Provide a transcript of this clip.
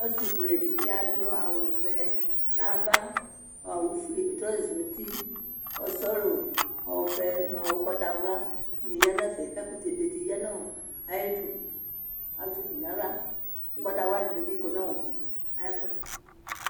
Ɔsi fuedi adʋ awʋvɛ nʋ ava trɔza nʋ uti sɔlɔ ɔvɛ nʋ ʋgbatawla dibi yanʋ ɛfɛ kʋ ɛkʋtɛ bedi yanʋ ayʋ idʋ azɛ ukpi nʋ aɣla kʋ ʋgbatawla dini bi kɔnʋ ayʋ ɛfʋ ye